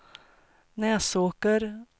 Näsåker